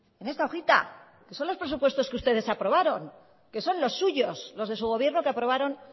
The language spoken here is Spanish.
en esta hojita que son los presupuestos que ustedes aprobaron que son los suyos los de su gobierno que aprobaron